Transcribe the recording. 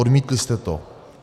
Odmítli jste to.